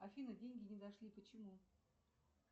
афина деньги не дошли почему